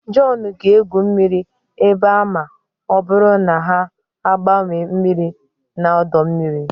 John ga-egwu mmiri ebe a ma ọ bụrụ na ha agbanwee mmiri na ọdọ mmiri